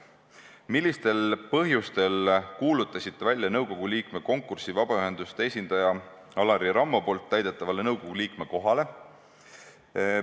Millistel põhjustel kuulutasite välja nõukogu liikme konkursi vabaühenduste esindaja Alari Rammo täidetavale nõukogu liikme kohale?